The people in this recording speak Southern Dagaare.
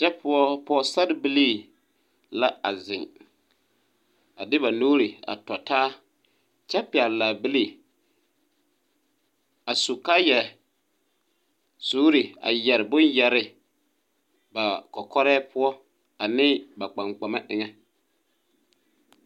Kyɛ poɔ pɔgesarbilii la a zeŋ a de ba nuuri tɔtaa kyɛ pɛgele laabilii. A su kaayɛɛsuuri a yɛre bomɔ ba kɔkɔrɛɛ poɔ aneŋ ba kpaŋkpama eŋɛ.